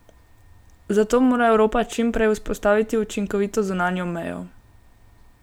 Zato mora Evropa čim prej vzpostaviti učinkovito zunanjo mejo.